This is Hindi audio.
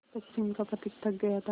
पश्चिम का पथिक थक गया था